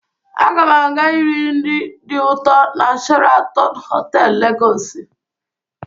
Aga m aga iri nri dị ụtọ na Sheratọn Họtelụ, Legọsị.